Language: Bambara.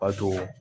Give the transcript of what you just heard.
Bato